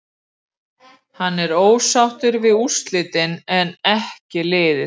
Hann var ósáttur við úrslitin en en ekki liðið.